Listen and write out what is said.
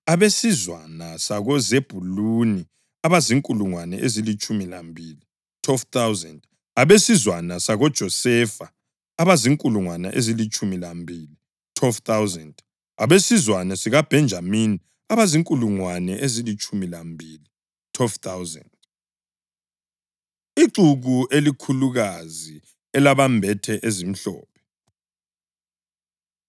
abesizwana sakoZebhuluni abazinkulungwane ezilitshumi lambili (12,000), abesizwana sakoJosefa abazinkulungwane ezilitshumi lambili (12,000), abesizwana sikaBhenjamini abazinkulungwane ezilitshumi lambili (12,000). Ixuku Elikhulukazi Elabembethe Ezimhlophe